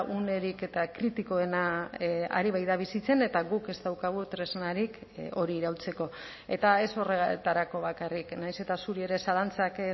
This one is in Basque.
unerik eta kritikoena ari baita bizitzen eta guk ez daukagu tresnarik hori iraultzeko eta ez horretarako bakarrik nahiz eta zuri ere zalantzak